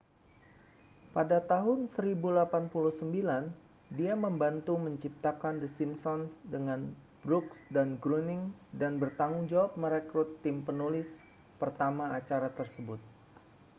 pada tahun 1089 dia membantu menciptakan the simpsons dengan brooks dan groening dan bertanggung jawab merekrut tim penulis pertama acara tersebut